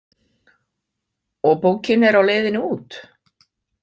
Og bókin er á leiðinni út?